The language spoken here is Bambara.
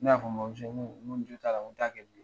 Ne y'a fɔ n bamuso, n ko, n ko, n jot'a la, n ko t'a kɛ bilen.